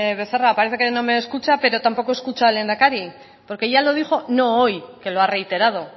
becerra parece que no me escucha pero tampoco escucha al lehendakari porque ya lo dijo no hoy que lo ha reiterado